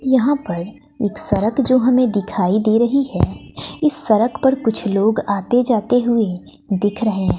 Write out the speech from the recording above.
यहां पर एक सरक जो हमें दिखाई दे रही है इस सरक पर कुछ लोग आते जाते हुए दिख रहे हैं।